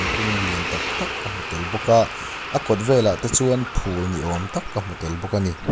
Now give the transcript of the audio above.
kung lian taktak ka hmu tel bawk a a kawt velah te chuan phul ni awm tak ka hmu tel bawk ani.